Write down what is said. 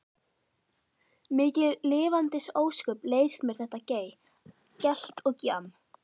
Mikil lifandis ósköp leiðist mér þetta gey, gelt og gjamm.